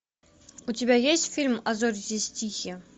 у тебя есть фильм а зори здесь тихие